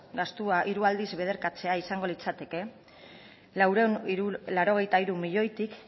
gastua hiru aldiz biderkatzea izango litzateke laurehun eta laurogeita hiru milioitik